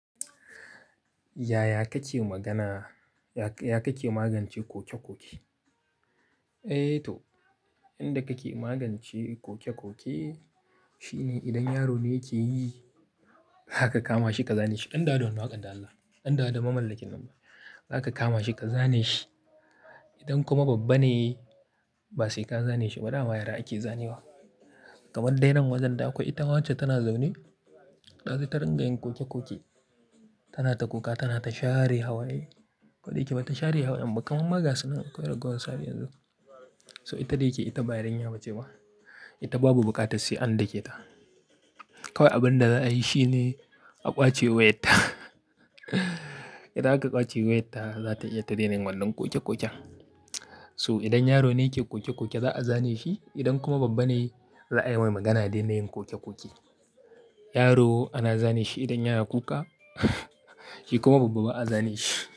Yaya kake magana? Yaka Ya kake magance koke-koke? Eh to, inda kake magance koke-koke shine idan yaro ne yake yi, zaka kama shi ka zane shi. Ɗan da wannan waƙar dan Allah, ɗan dawo mamallakin nan. Zaka kama shi ka zane shi. Idan kuma babba ne, ba sai ka zane shi ba. Da yara ake zane wa. Kaman dai ran wajen da akwai ita wacce tana zaune, da sai ta ringa yin koke-koke. Tana ta kuka, tana ta share hawaye. Ko da yake ba ta share hawayen ba, kamar ma ga sunan kina akwai ragowar su har yanzun. So ita da yake, ita bayarinya ba ce ba. Ita babu buƙatar sai an dake ta. Kawai abin da za a yi shine a kwace wayar ta. Idan aka kwace wayarta, za ta iya ta daina yin wannan koke-koken. So idan yaro ne yake koke-koke za a zane shi. Idan kuma babba ne, za a yi mai magana dai na yin koke-koke. Yaro ana zane shi idan yana kuka, shi kuma babba ba a zane shi.